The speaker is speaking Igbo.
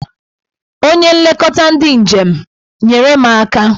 Onye nleta ndị njem! nyere m aka